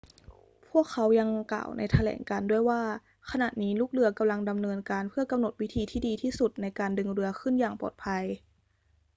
พวกเขายังกล่าวในแถลงการณ์ด้วยว่า ขณะนี้ลูกเรือกำลังดำเนินการเพื่อกำหนดวิธีที่ดีที่สุดในการดึงเรือขึ้นอย่างปลอดภัย